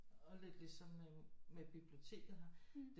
Og lidt ligesom med biblioteket her